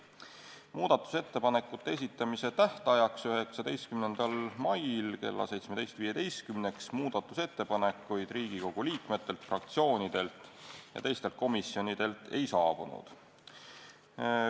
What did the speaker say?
Muudatusettepanekute esitamise tähtajaks, 19. maiks kella 17.15-ks muudatusettepanekuid Riigikogu liikmetelt, fraktsioonidelt ja teistelt komisjonidelt ei saabunud.